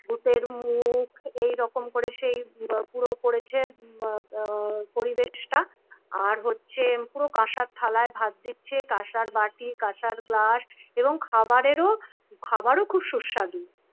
ভুতের মুখ এইরকম করে সেই পুরো করেছে পরিবেশটা আর হচ্ছে পুরো কাঁসার থালায় ভাত দিচ্ছে কাঁসার বাটি কাঁসার গ্লাস এবং খাবারের ও খাবারও খুব সুস্বাদু